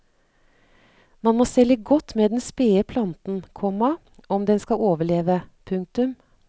Man må stelle godt med den spede planten, komma om den skal overleve. punktum